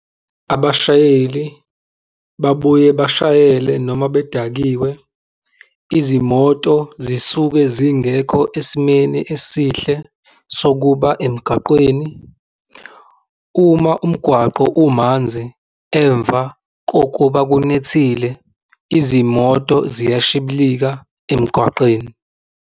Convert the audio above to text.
Abashayeli babuye bashayele noma bedakiwe. Izimoto zisuke zingekho esimeni esihle sokuba emgaqweni. Uma umgwaqo umanzi emva kokuba kunethile izimoto ziyashiblika emgwaqeni.